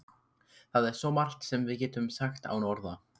Það er svo margt sem við getum sagt án orða.